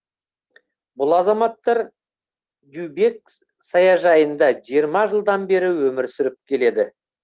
бұл азаматтар дюбек саяжайында жиырма жылдан бері өмір сүріп келеді